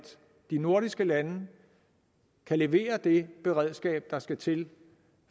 de nordiske lande kan levere det beredskab der skal til